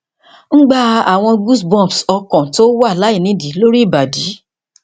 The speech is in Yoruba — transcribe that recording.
ngba awon goosebumps okan ti o wa lainidii lori ibadi